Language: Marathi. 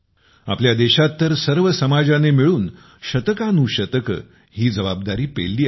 आपल्या देशात तर सर्व समाजाने मिळून शतकानुशतके ही जबाबदारी पेलली आहे